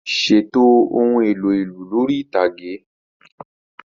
Ṣètò ohun èlò ìlù lórí ìtàgé.